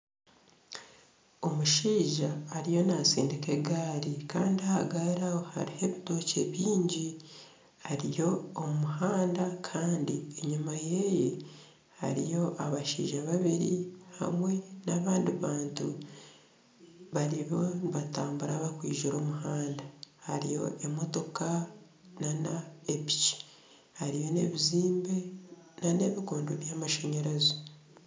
Omushaija ariyo natsindika egaari Kandi aha gaari aho hariho ebitookye bingi hariyo omuhanda kandi enyuma ye hariyo abashaija babiri hamwe n'abandi bantu bariyo nibatambura barikwizira omu muhanda hariyo emotoka nana piki hariyo ebizimbe nana ebikondo byamashanyarazi